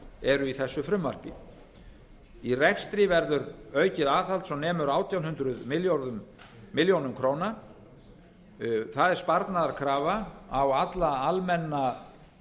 eru í þessu frumvarpi í rekstri verður aukið aðhald svo nemur átján hundruð milljóna króna það er sparnaðarkrafa á alla almenna